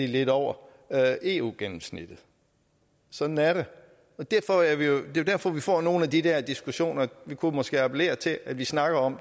lidt over eu gennemsnittet sådan er det det er jo derfor at vi får nogle af de dér diskussioner vi kunne måske appellere til at vi snakker om